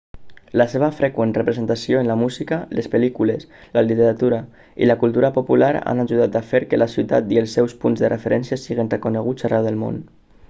la seva freqüent representació en la música les pel·lícules la literatura i la cultura popular han ajudat a fer que la ciutat i els seus punts de referència siguin reconeguts arreu del món